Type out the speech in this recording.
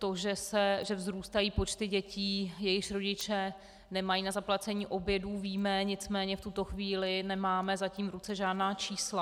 To, že vzrůstají počty dětí, jejichž rodiče nemají na zaplacení obědů, víme, nicméně v tuto chvíli nemáme zatím v ruce žádná čísla.